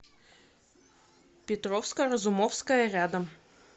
петровско разумовская рядом